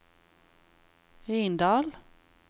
Rindal